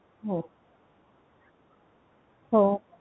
हो हो